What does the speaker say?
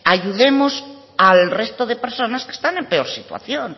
ayudemos al resto de personas que estén en peor situación